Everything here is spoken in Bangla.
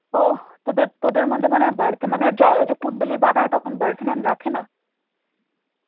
ও তোদের তোদের মধ্যে মানে birth মানে এটা কুণ্ডলী বাঁধা হয় তখন birth name রাখেনা?